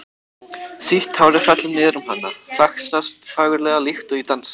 Sítt hárið fellur niður um hana, flaksast fagurlega líkt og í dansi.